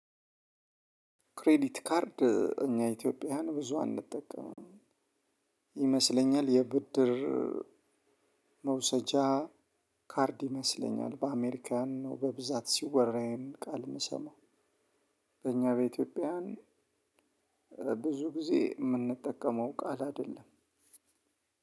ክሬዲት ካርድ እኛ ኢትዮጵያውያን ብዙ አንጠቀምም። ይመስለኛል የብድር መውሰጃ ካርድ ይመስለኛል። በአሜሪካን ነው በብዛት ሲወራ ይህን ቃል ምሰማው። በእኛ በኢትዮጵያውያን ብዙ ጊዜ ምንጠቀመው ቃል አይደለም።